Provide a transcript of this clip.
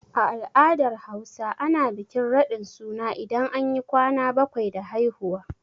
A al'adar Hausa, ana bikin raɗin suna idan anyi ƙwana baƙwai da haihuwa.